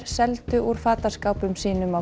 seldu úr fataskápum sínum á